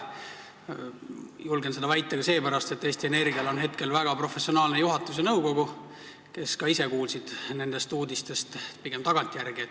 Julgen seda väita ka seepärast, et Eesti Energial on hetkel väga professionaalne juhatus ja nõukogu, kes ka ise kuulsid nendest uudistest pigem tagantjärele.